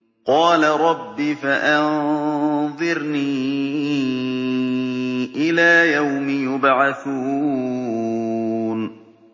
قَالَ رَبِّ فَأَنظِرْنِي إِلَىٰ يَوْمِ يُبْعَثُونَ